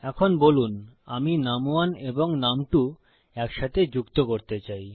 এখন বলুন আমি নুম1 এবং নুম2 একসাথে যুক্ত করতে চাই